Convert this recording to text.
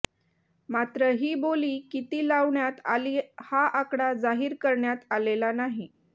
मात्र ही बोली किती लावण्यात आली हा आकडा जाहीर करण्यात आलेला नाही